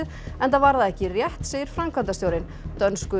enda var það ekki rétt segir framkvæmdastjórinn dönsku